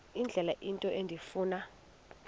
indlela into endifuna